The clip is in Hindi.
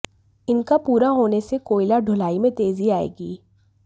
इनके पूरा होने से कोयला ढुलाई में तेजी आयेगी